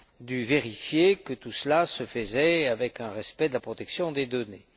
a dû vérifier que tout cela se faisait dans le respect de la protection des données.